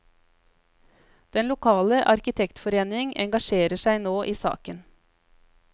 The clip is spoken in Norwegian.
Den lokale arkitektforeningen engasjerer seg nå i saken.